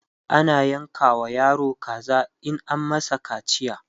ana yanka wa yaro kaza in an masa kaciya